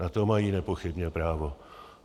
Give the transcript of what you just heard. Na to mají nepochybně právo.